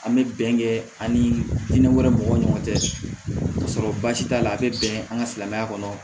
An bɛ bɛnkɛ an ni hinɛ wɛrɛ mɔgɔw ni ɲɔgɔn cɛ ka sɔrɔ baasi t'a la a bɛ bɛn an ka silamɛya kɔnɔ